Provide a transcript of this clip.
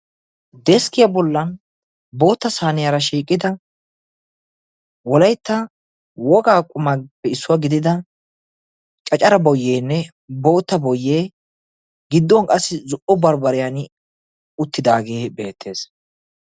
Deskkiyaa bollan bootta saaniyaara shiiqida wolaitta wogaa qumappe issuwaa gidida cacara boyyeenne bootta boyyee gidduwn qassi zo'o baribariyan uttidaagee beettees.